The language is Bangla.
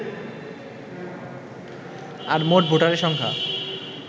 আর মোট ভোটারের সংখ্যা